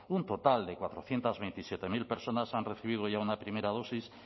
un total de cuatrocientos veintisiete mil personas han recibido ya una primera dosis